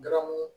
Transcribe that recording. Garamu